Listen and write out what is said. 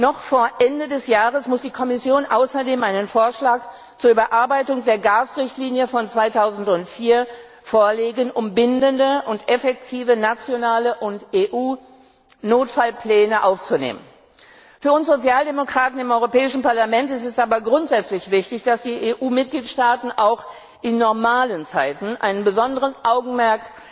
Noch vor Ende des Jahres muss die Kommission außerdem einen Vorschlag zur Überarbeitung der Gasrichtlinie von 2004 vorlegen, um bindende und effektive, nationale und EU Notfallpläne aufzunehmen. Für uns Sozialdemokraten im Europäischen Parlament ist es aber grundsätzlich wichtig, dass die EU Mitgliedstaaten auch in normalen Zeiten ein besonderes Augenmerk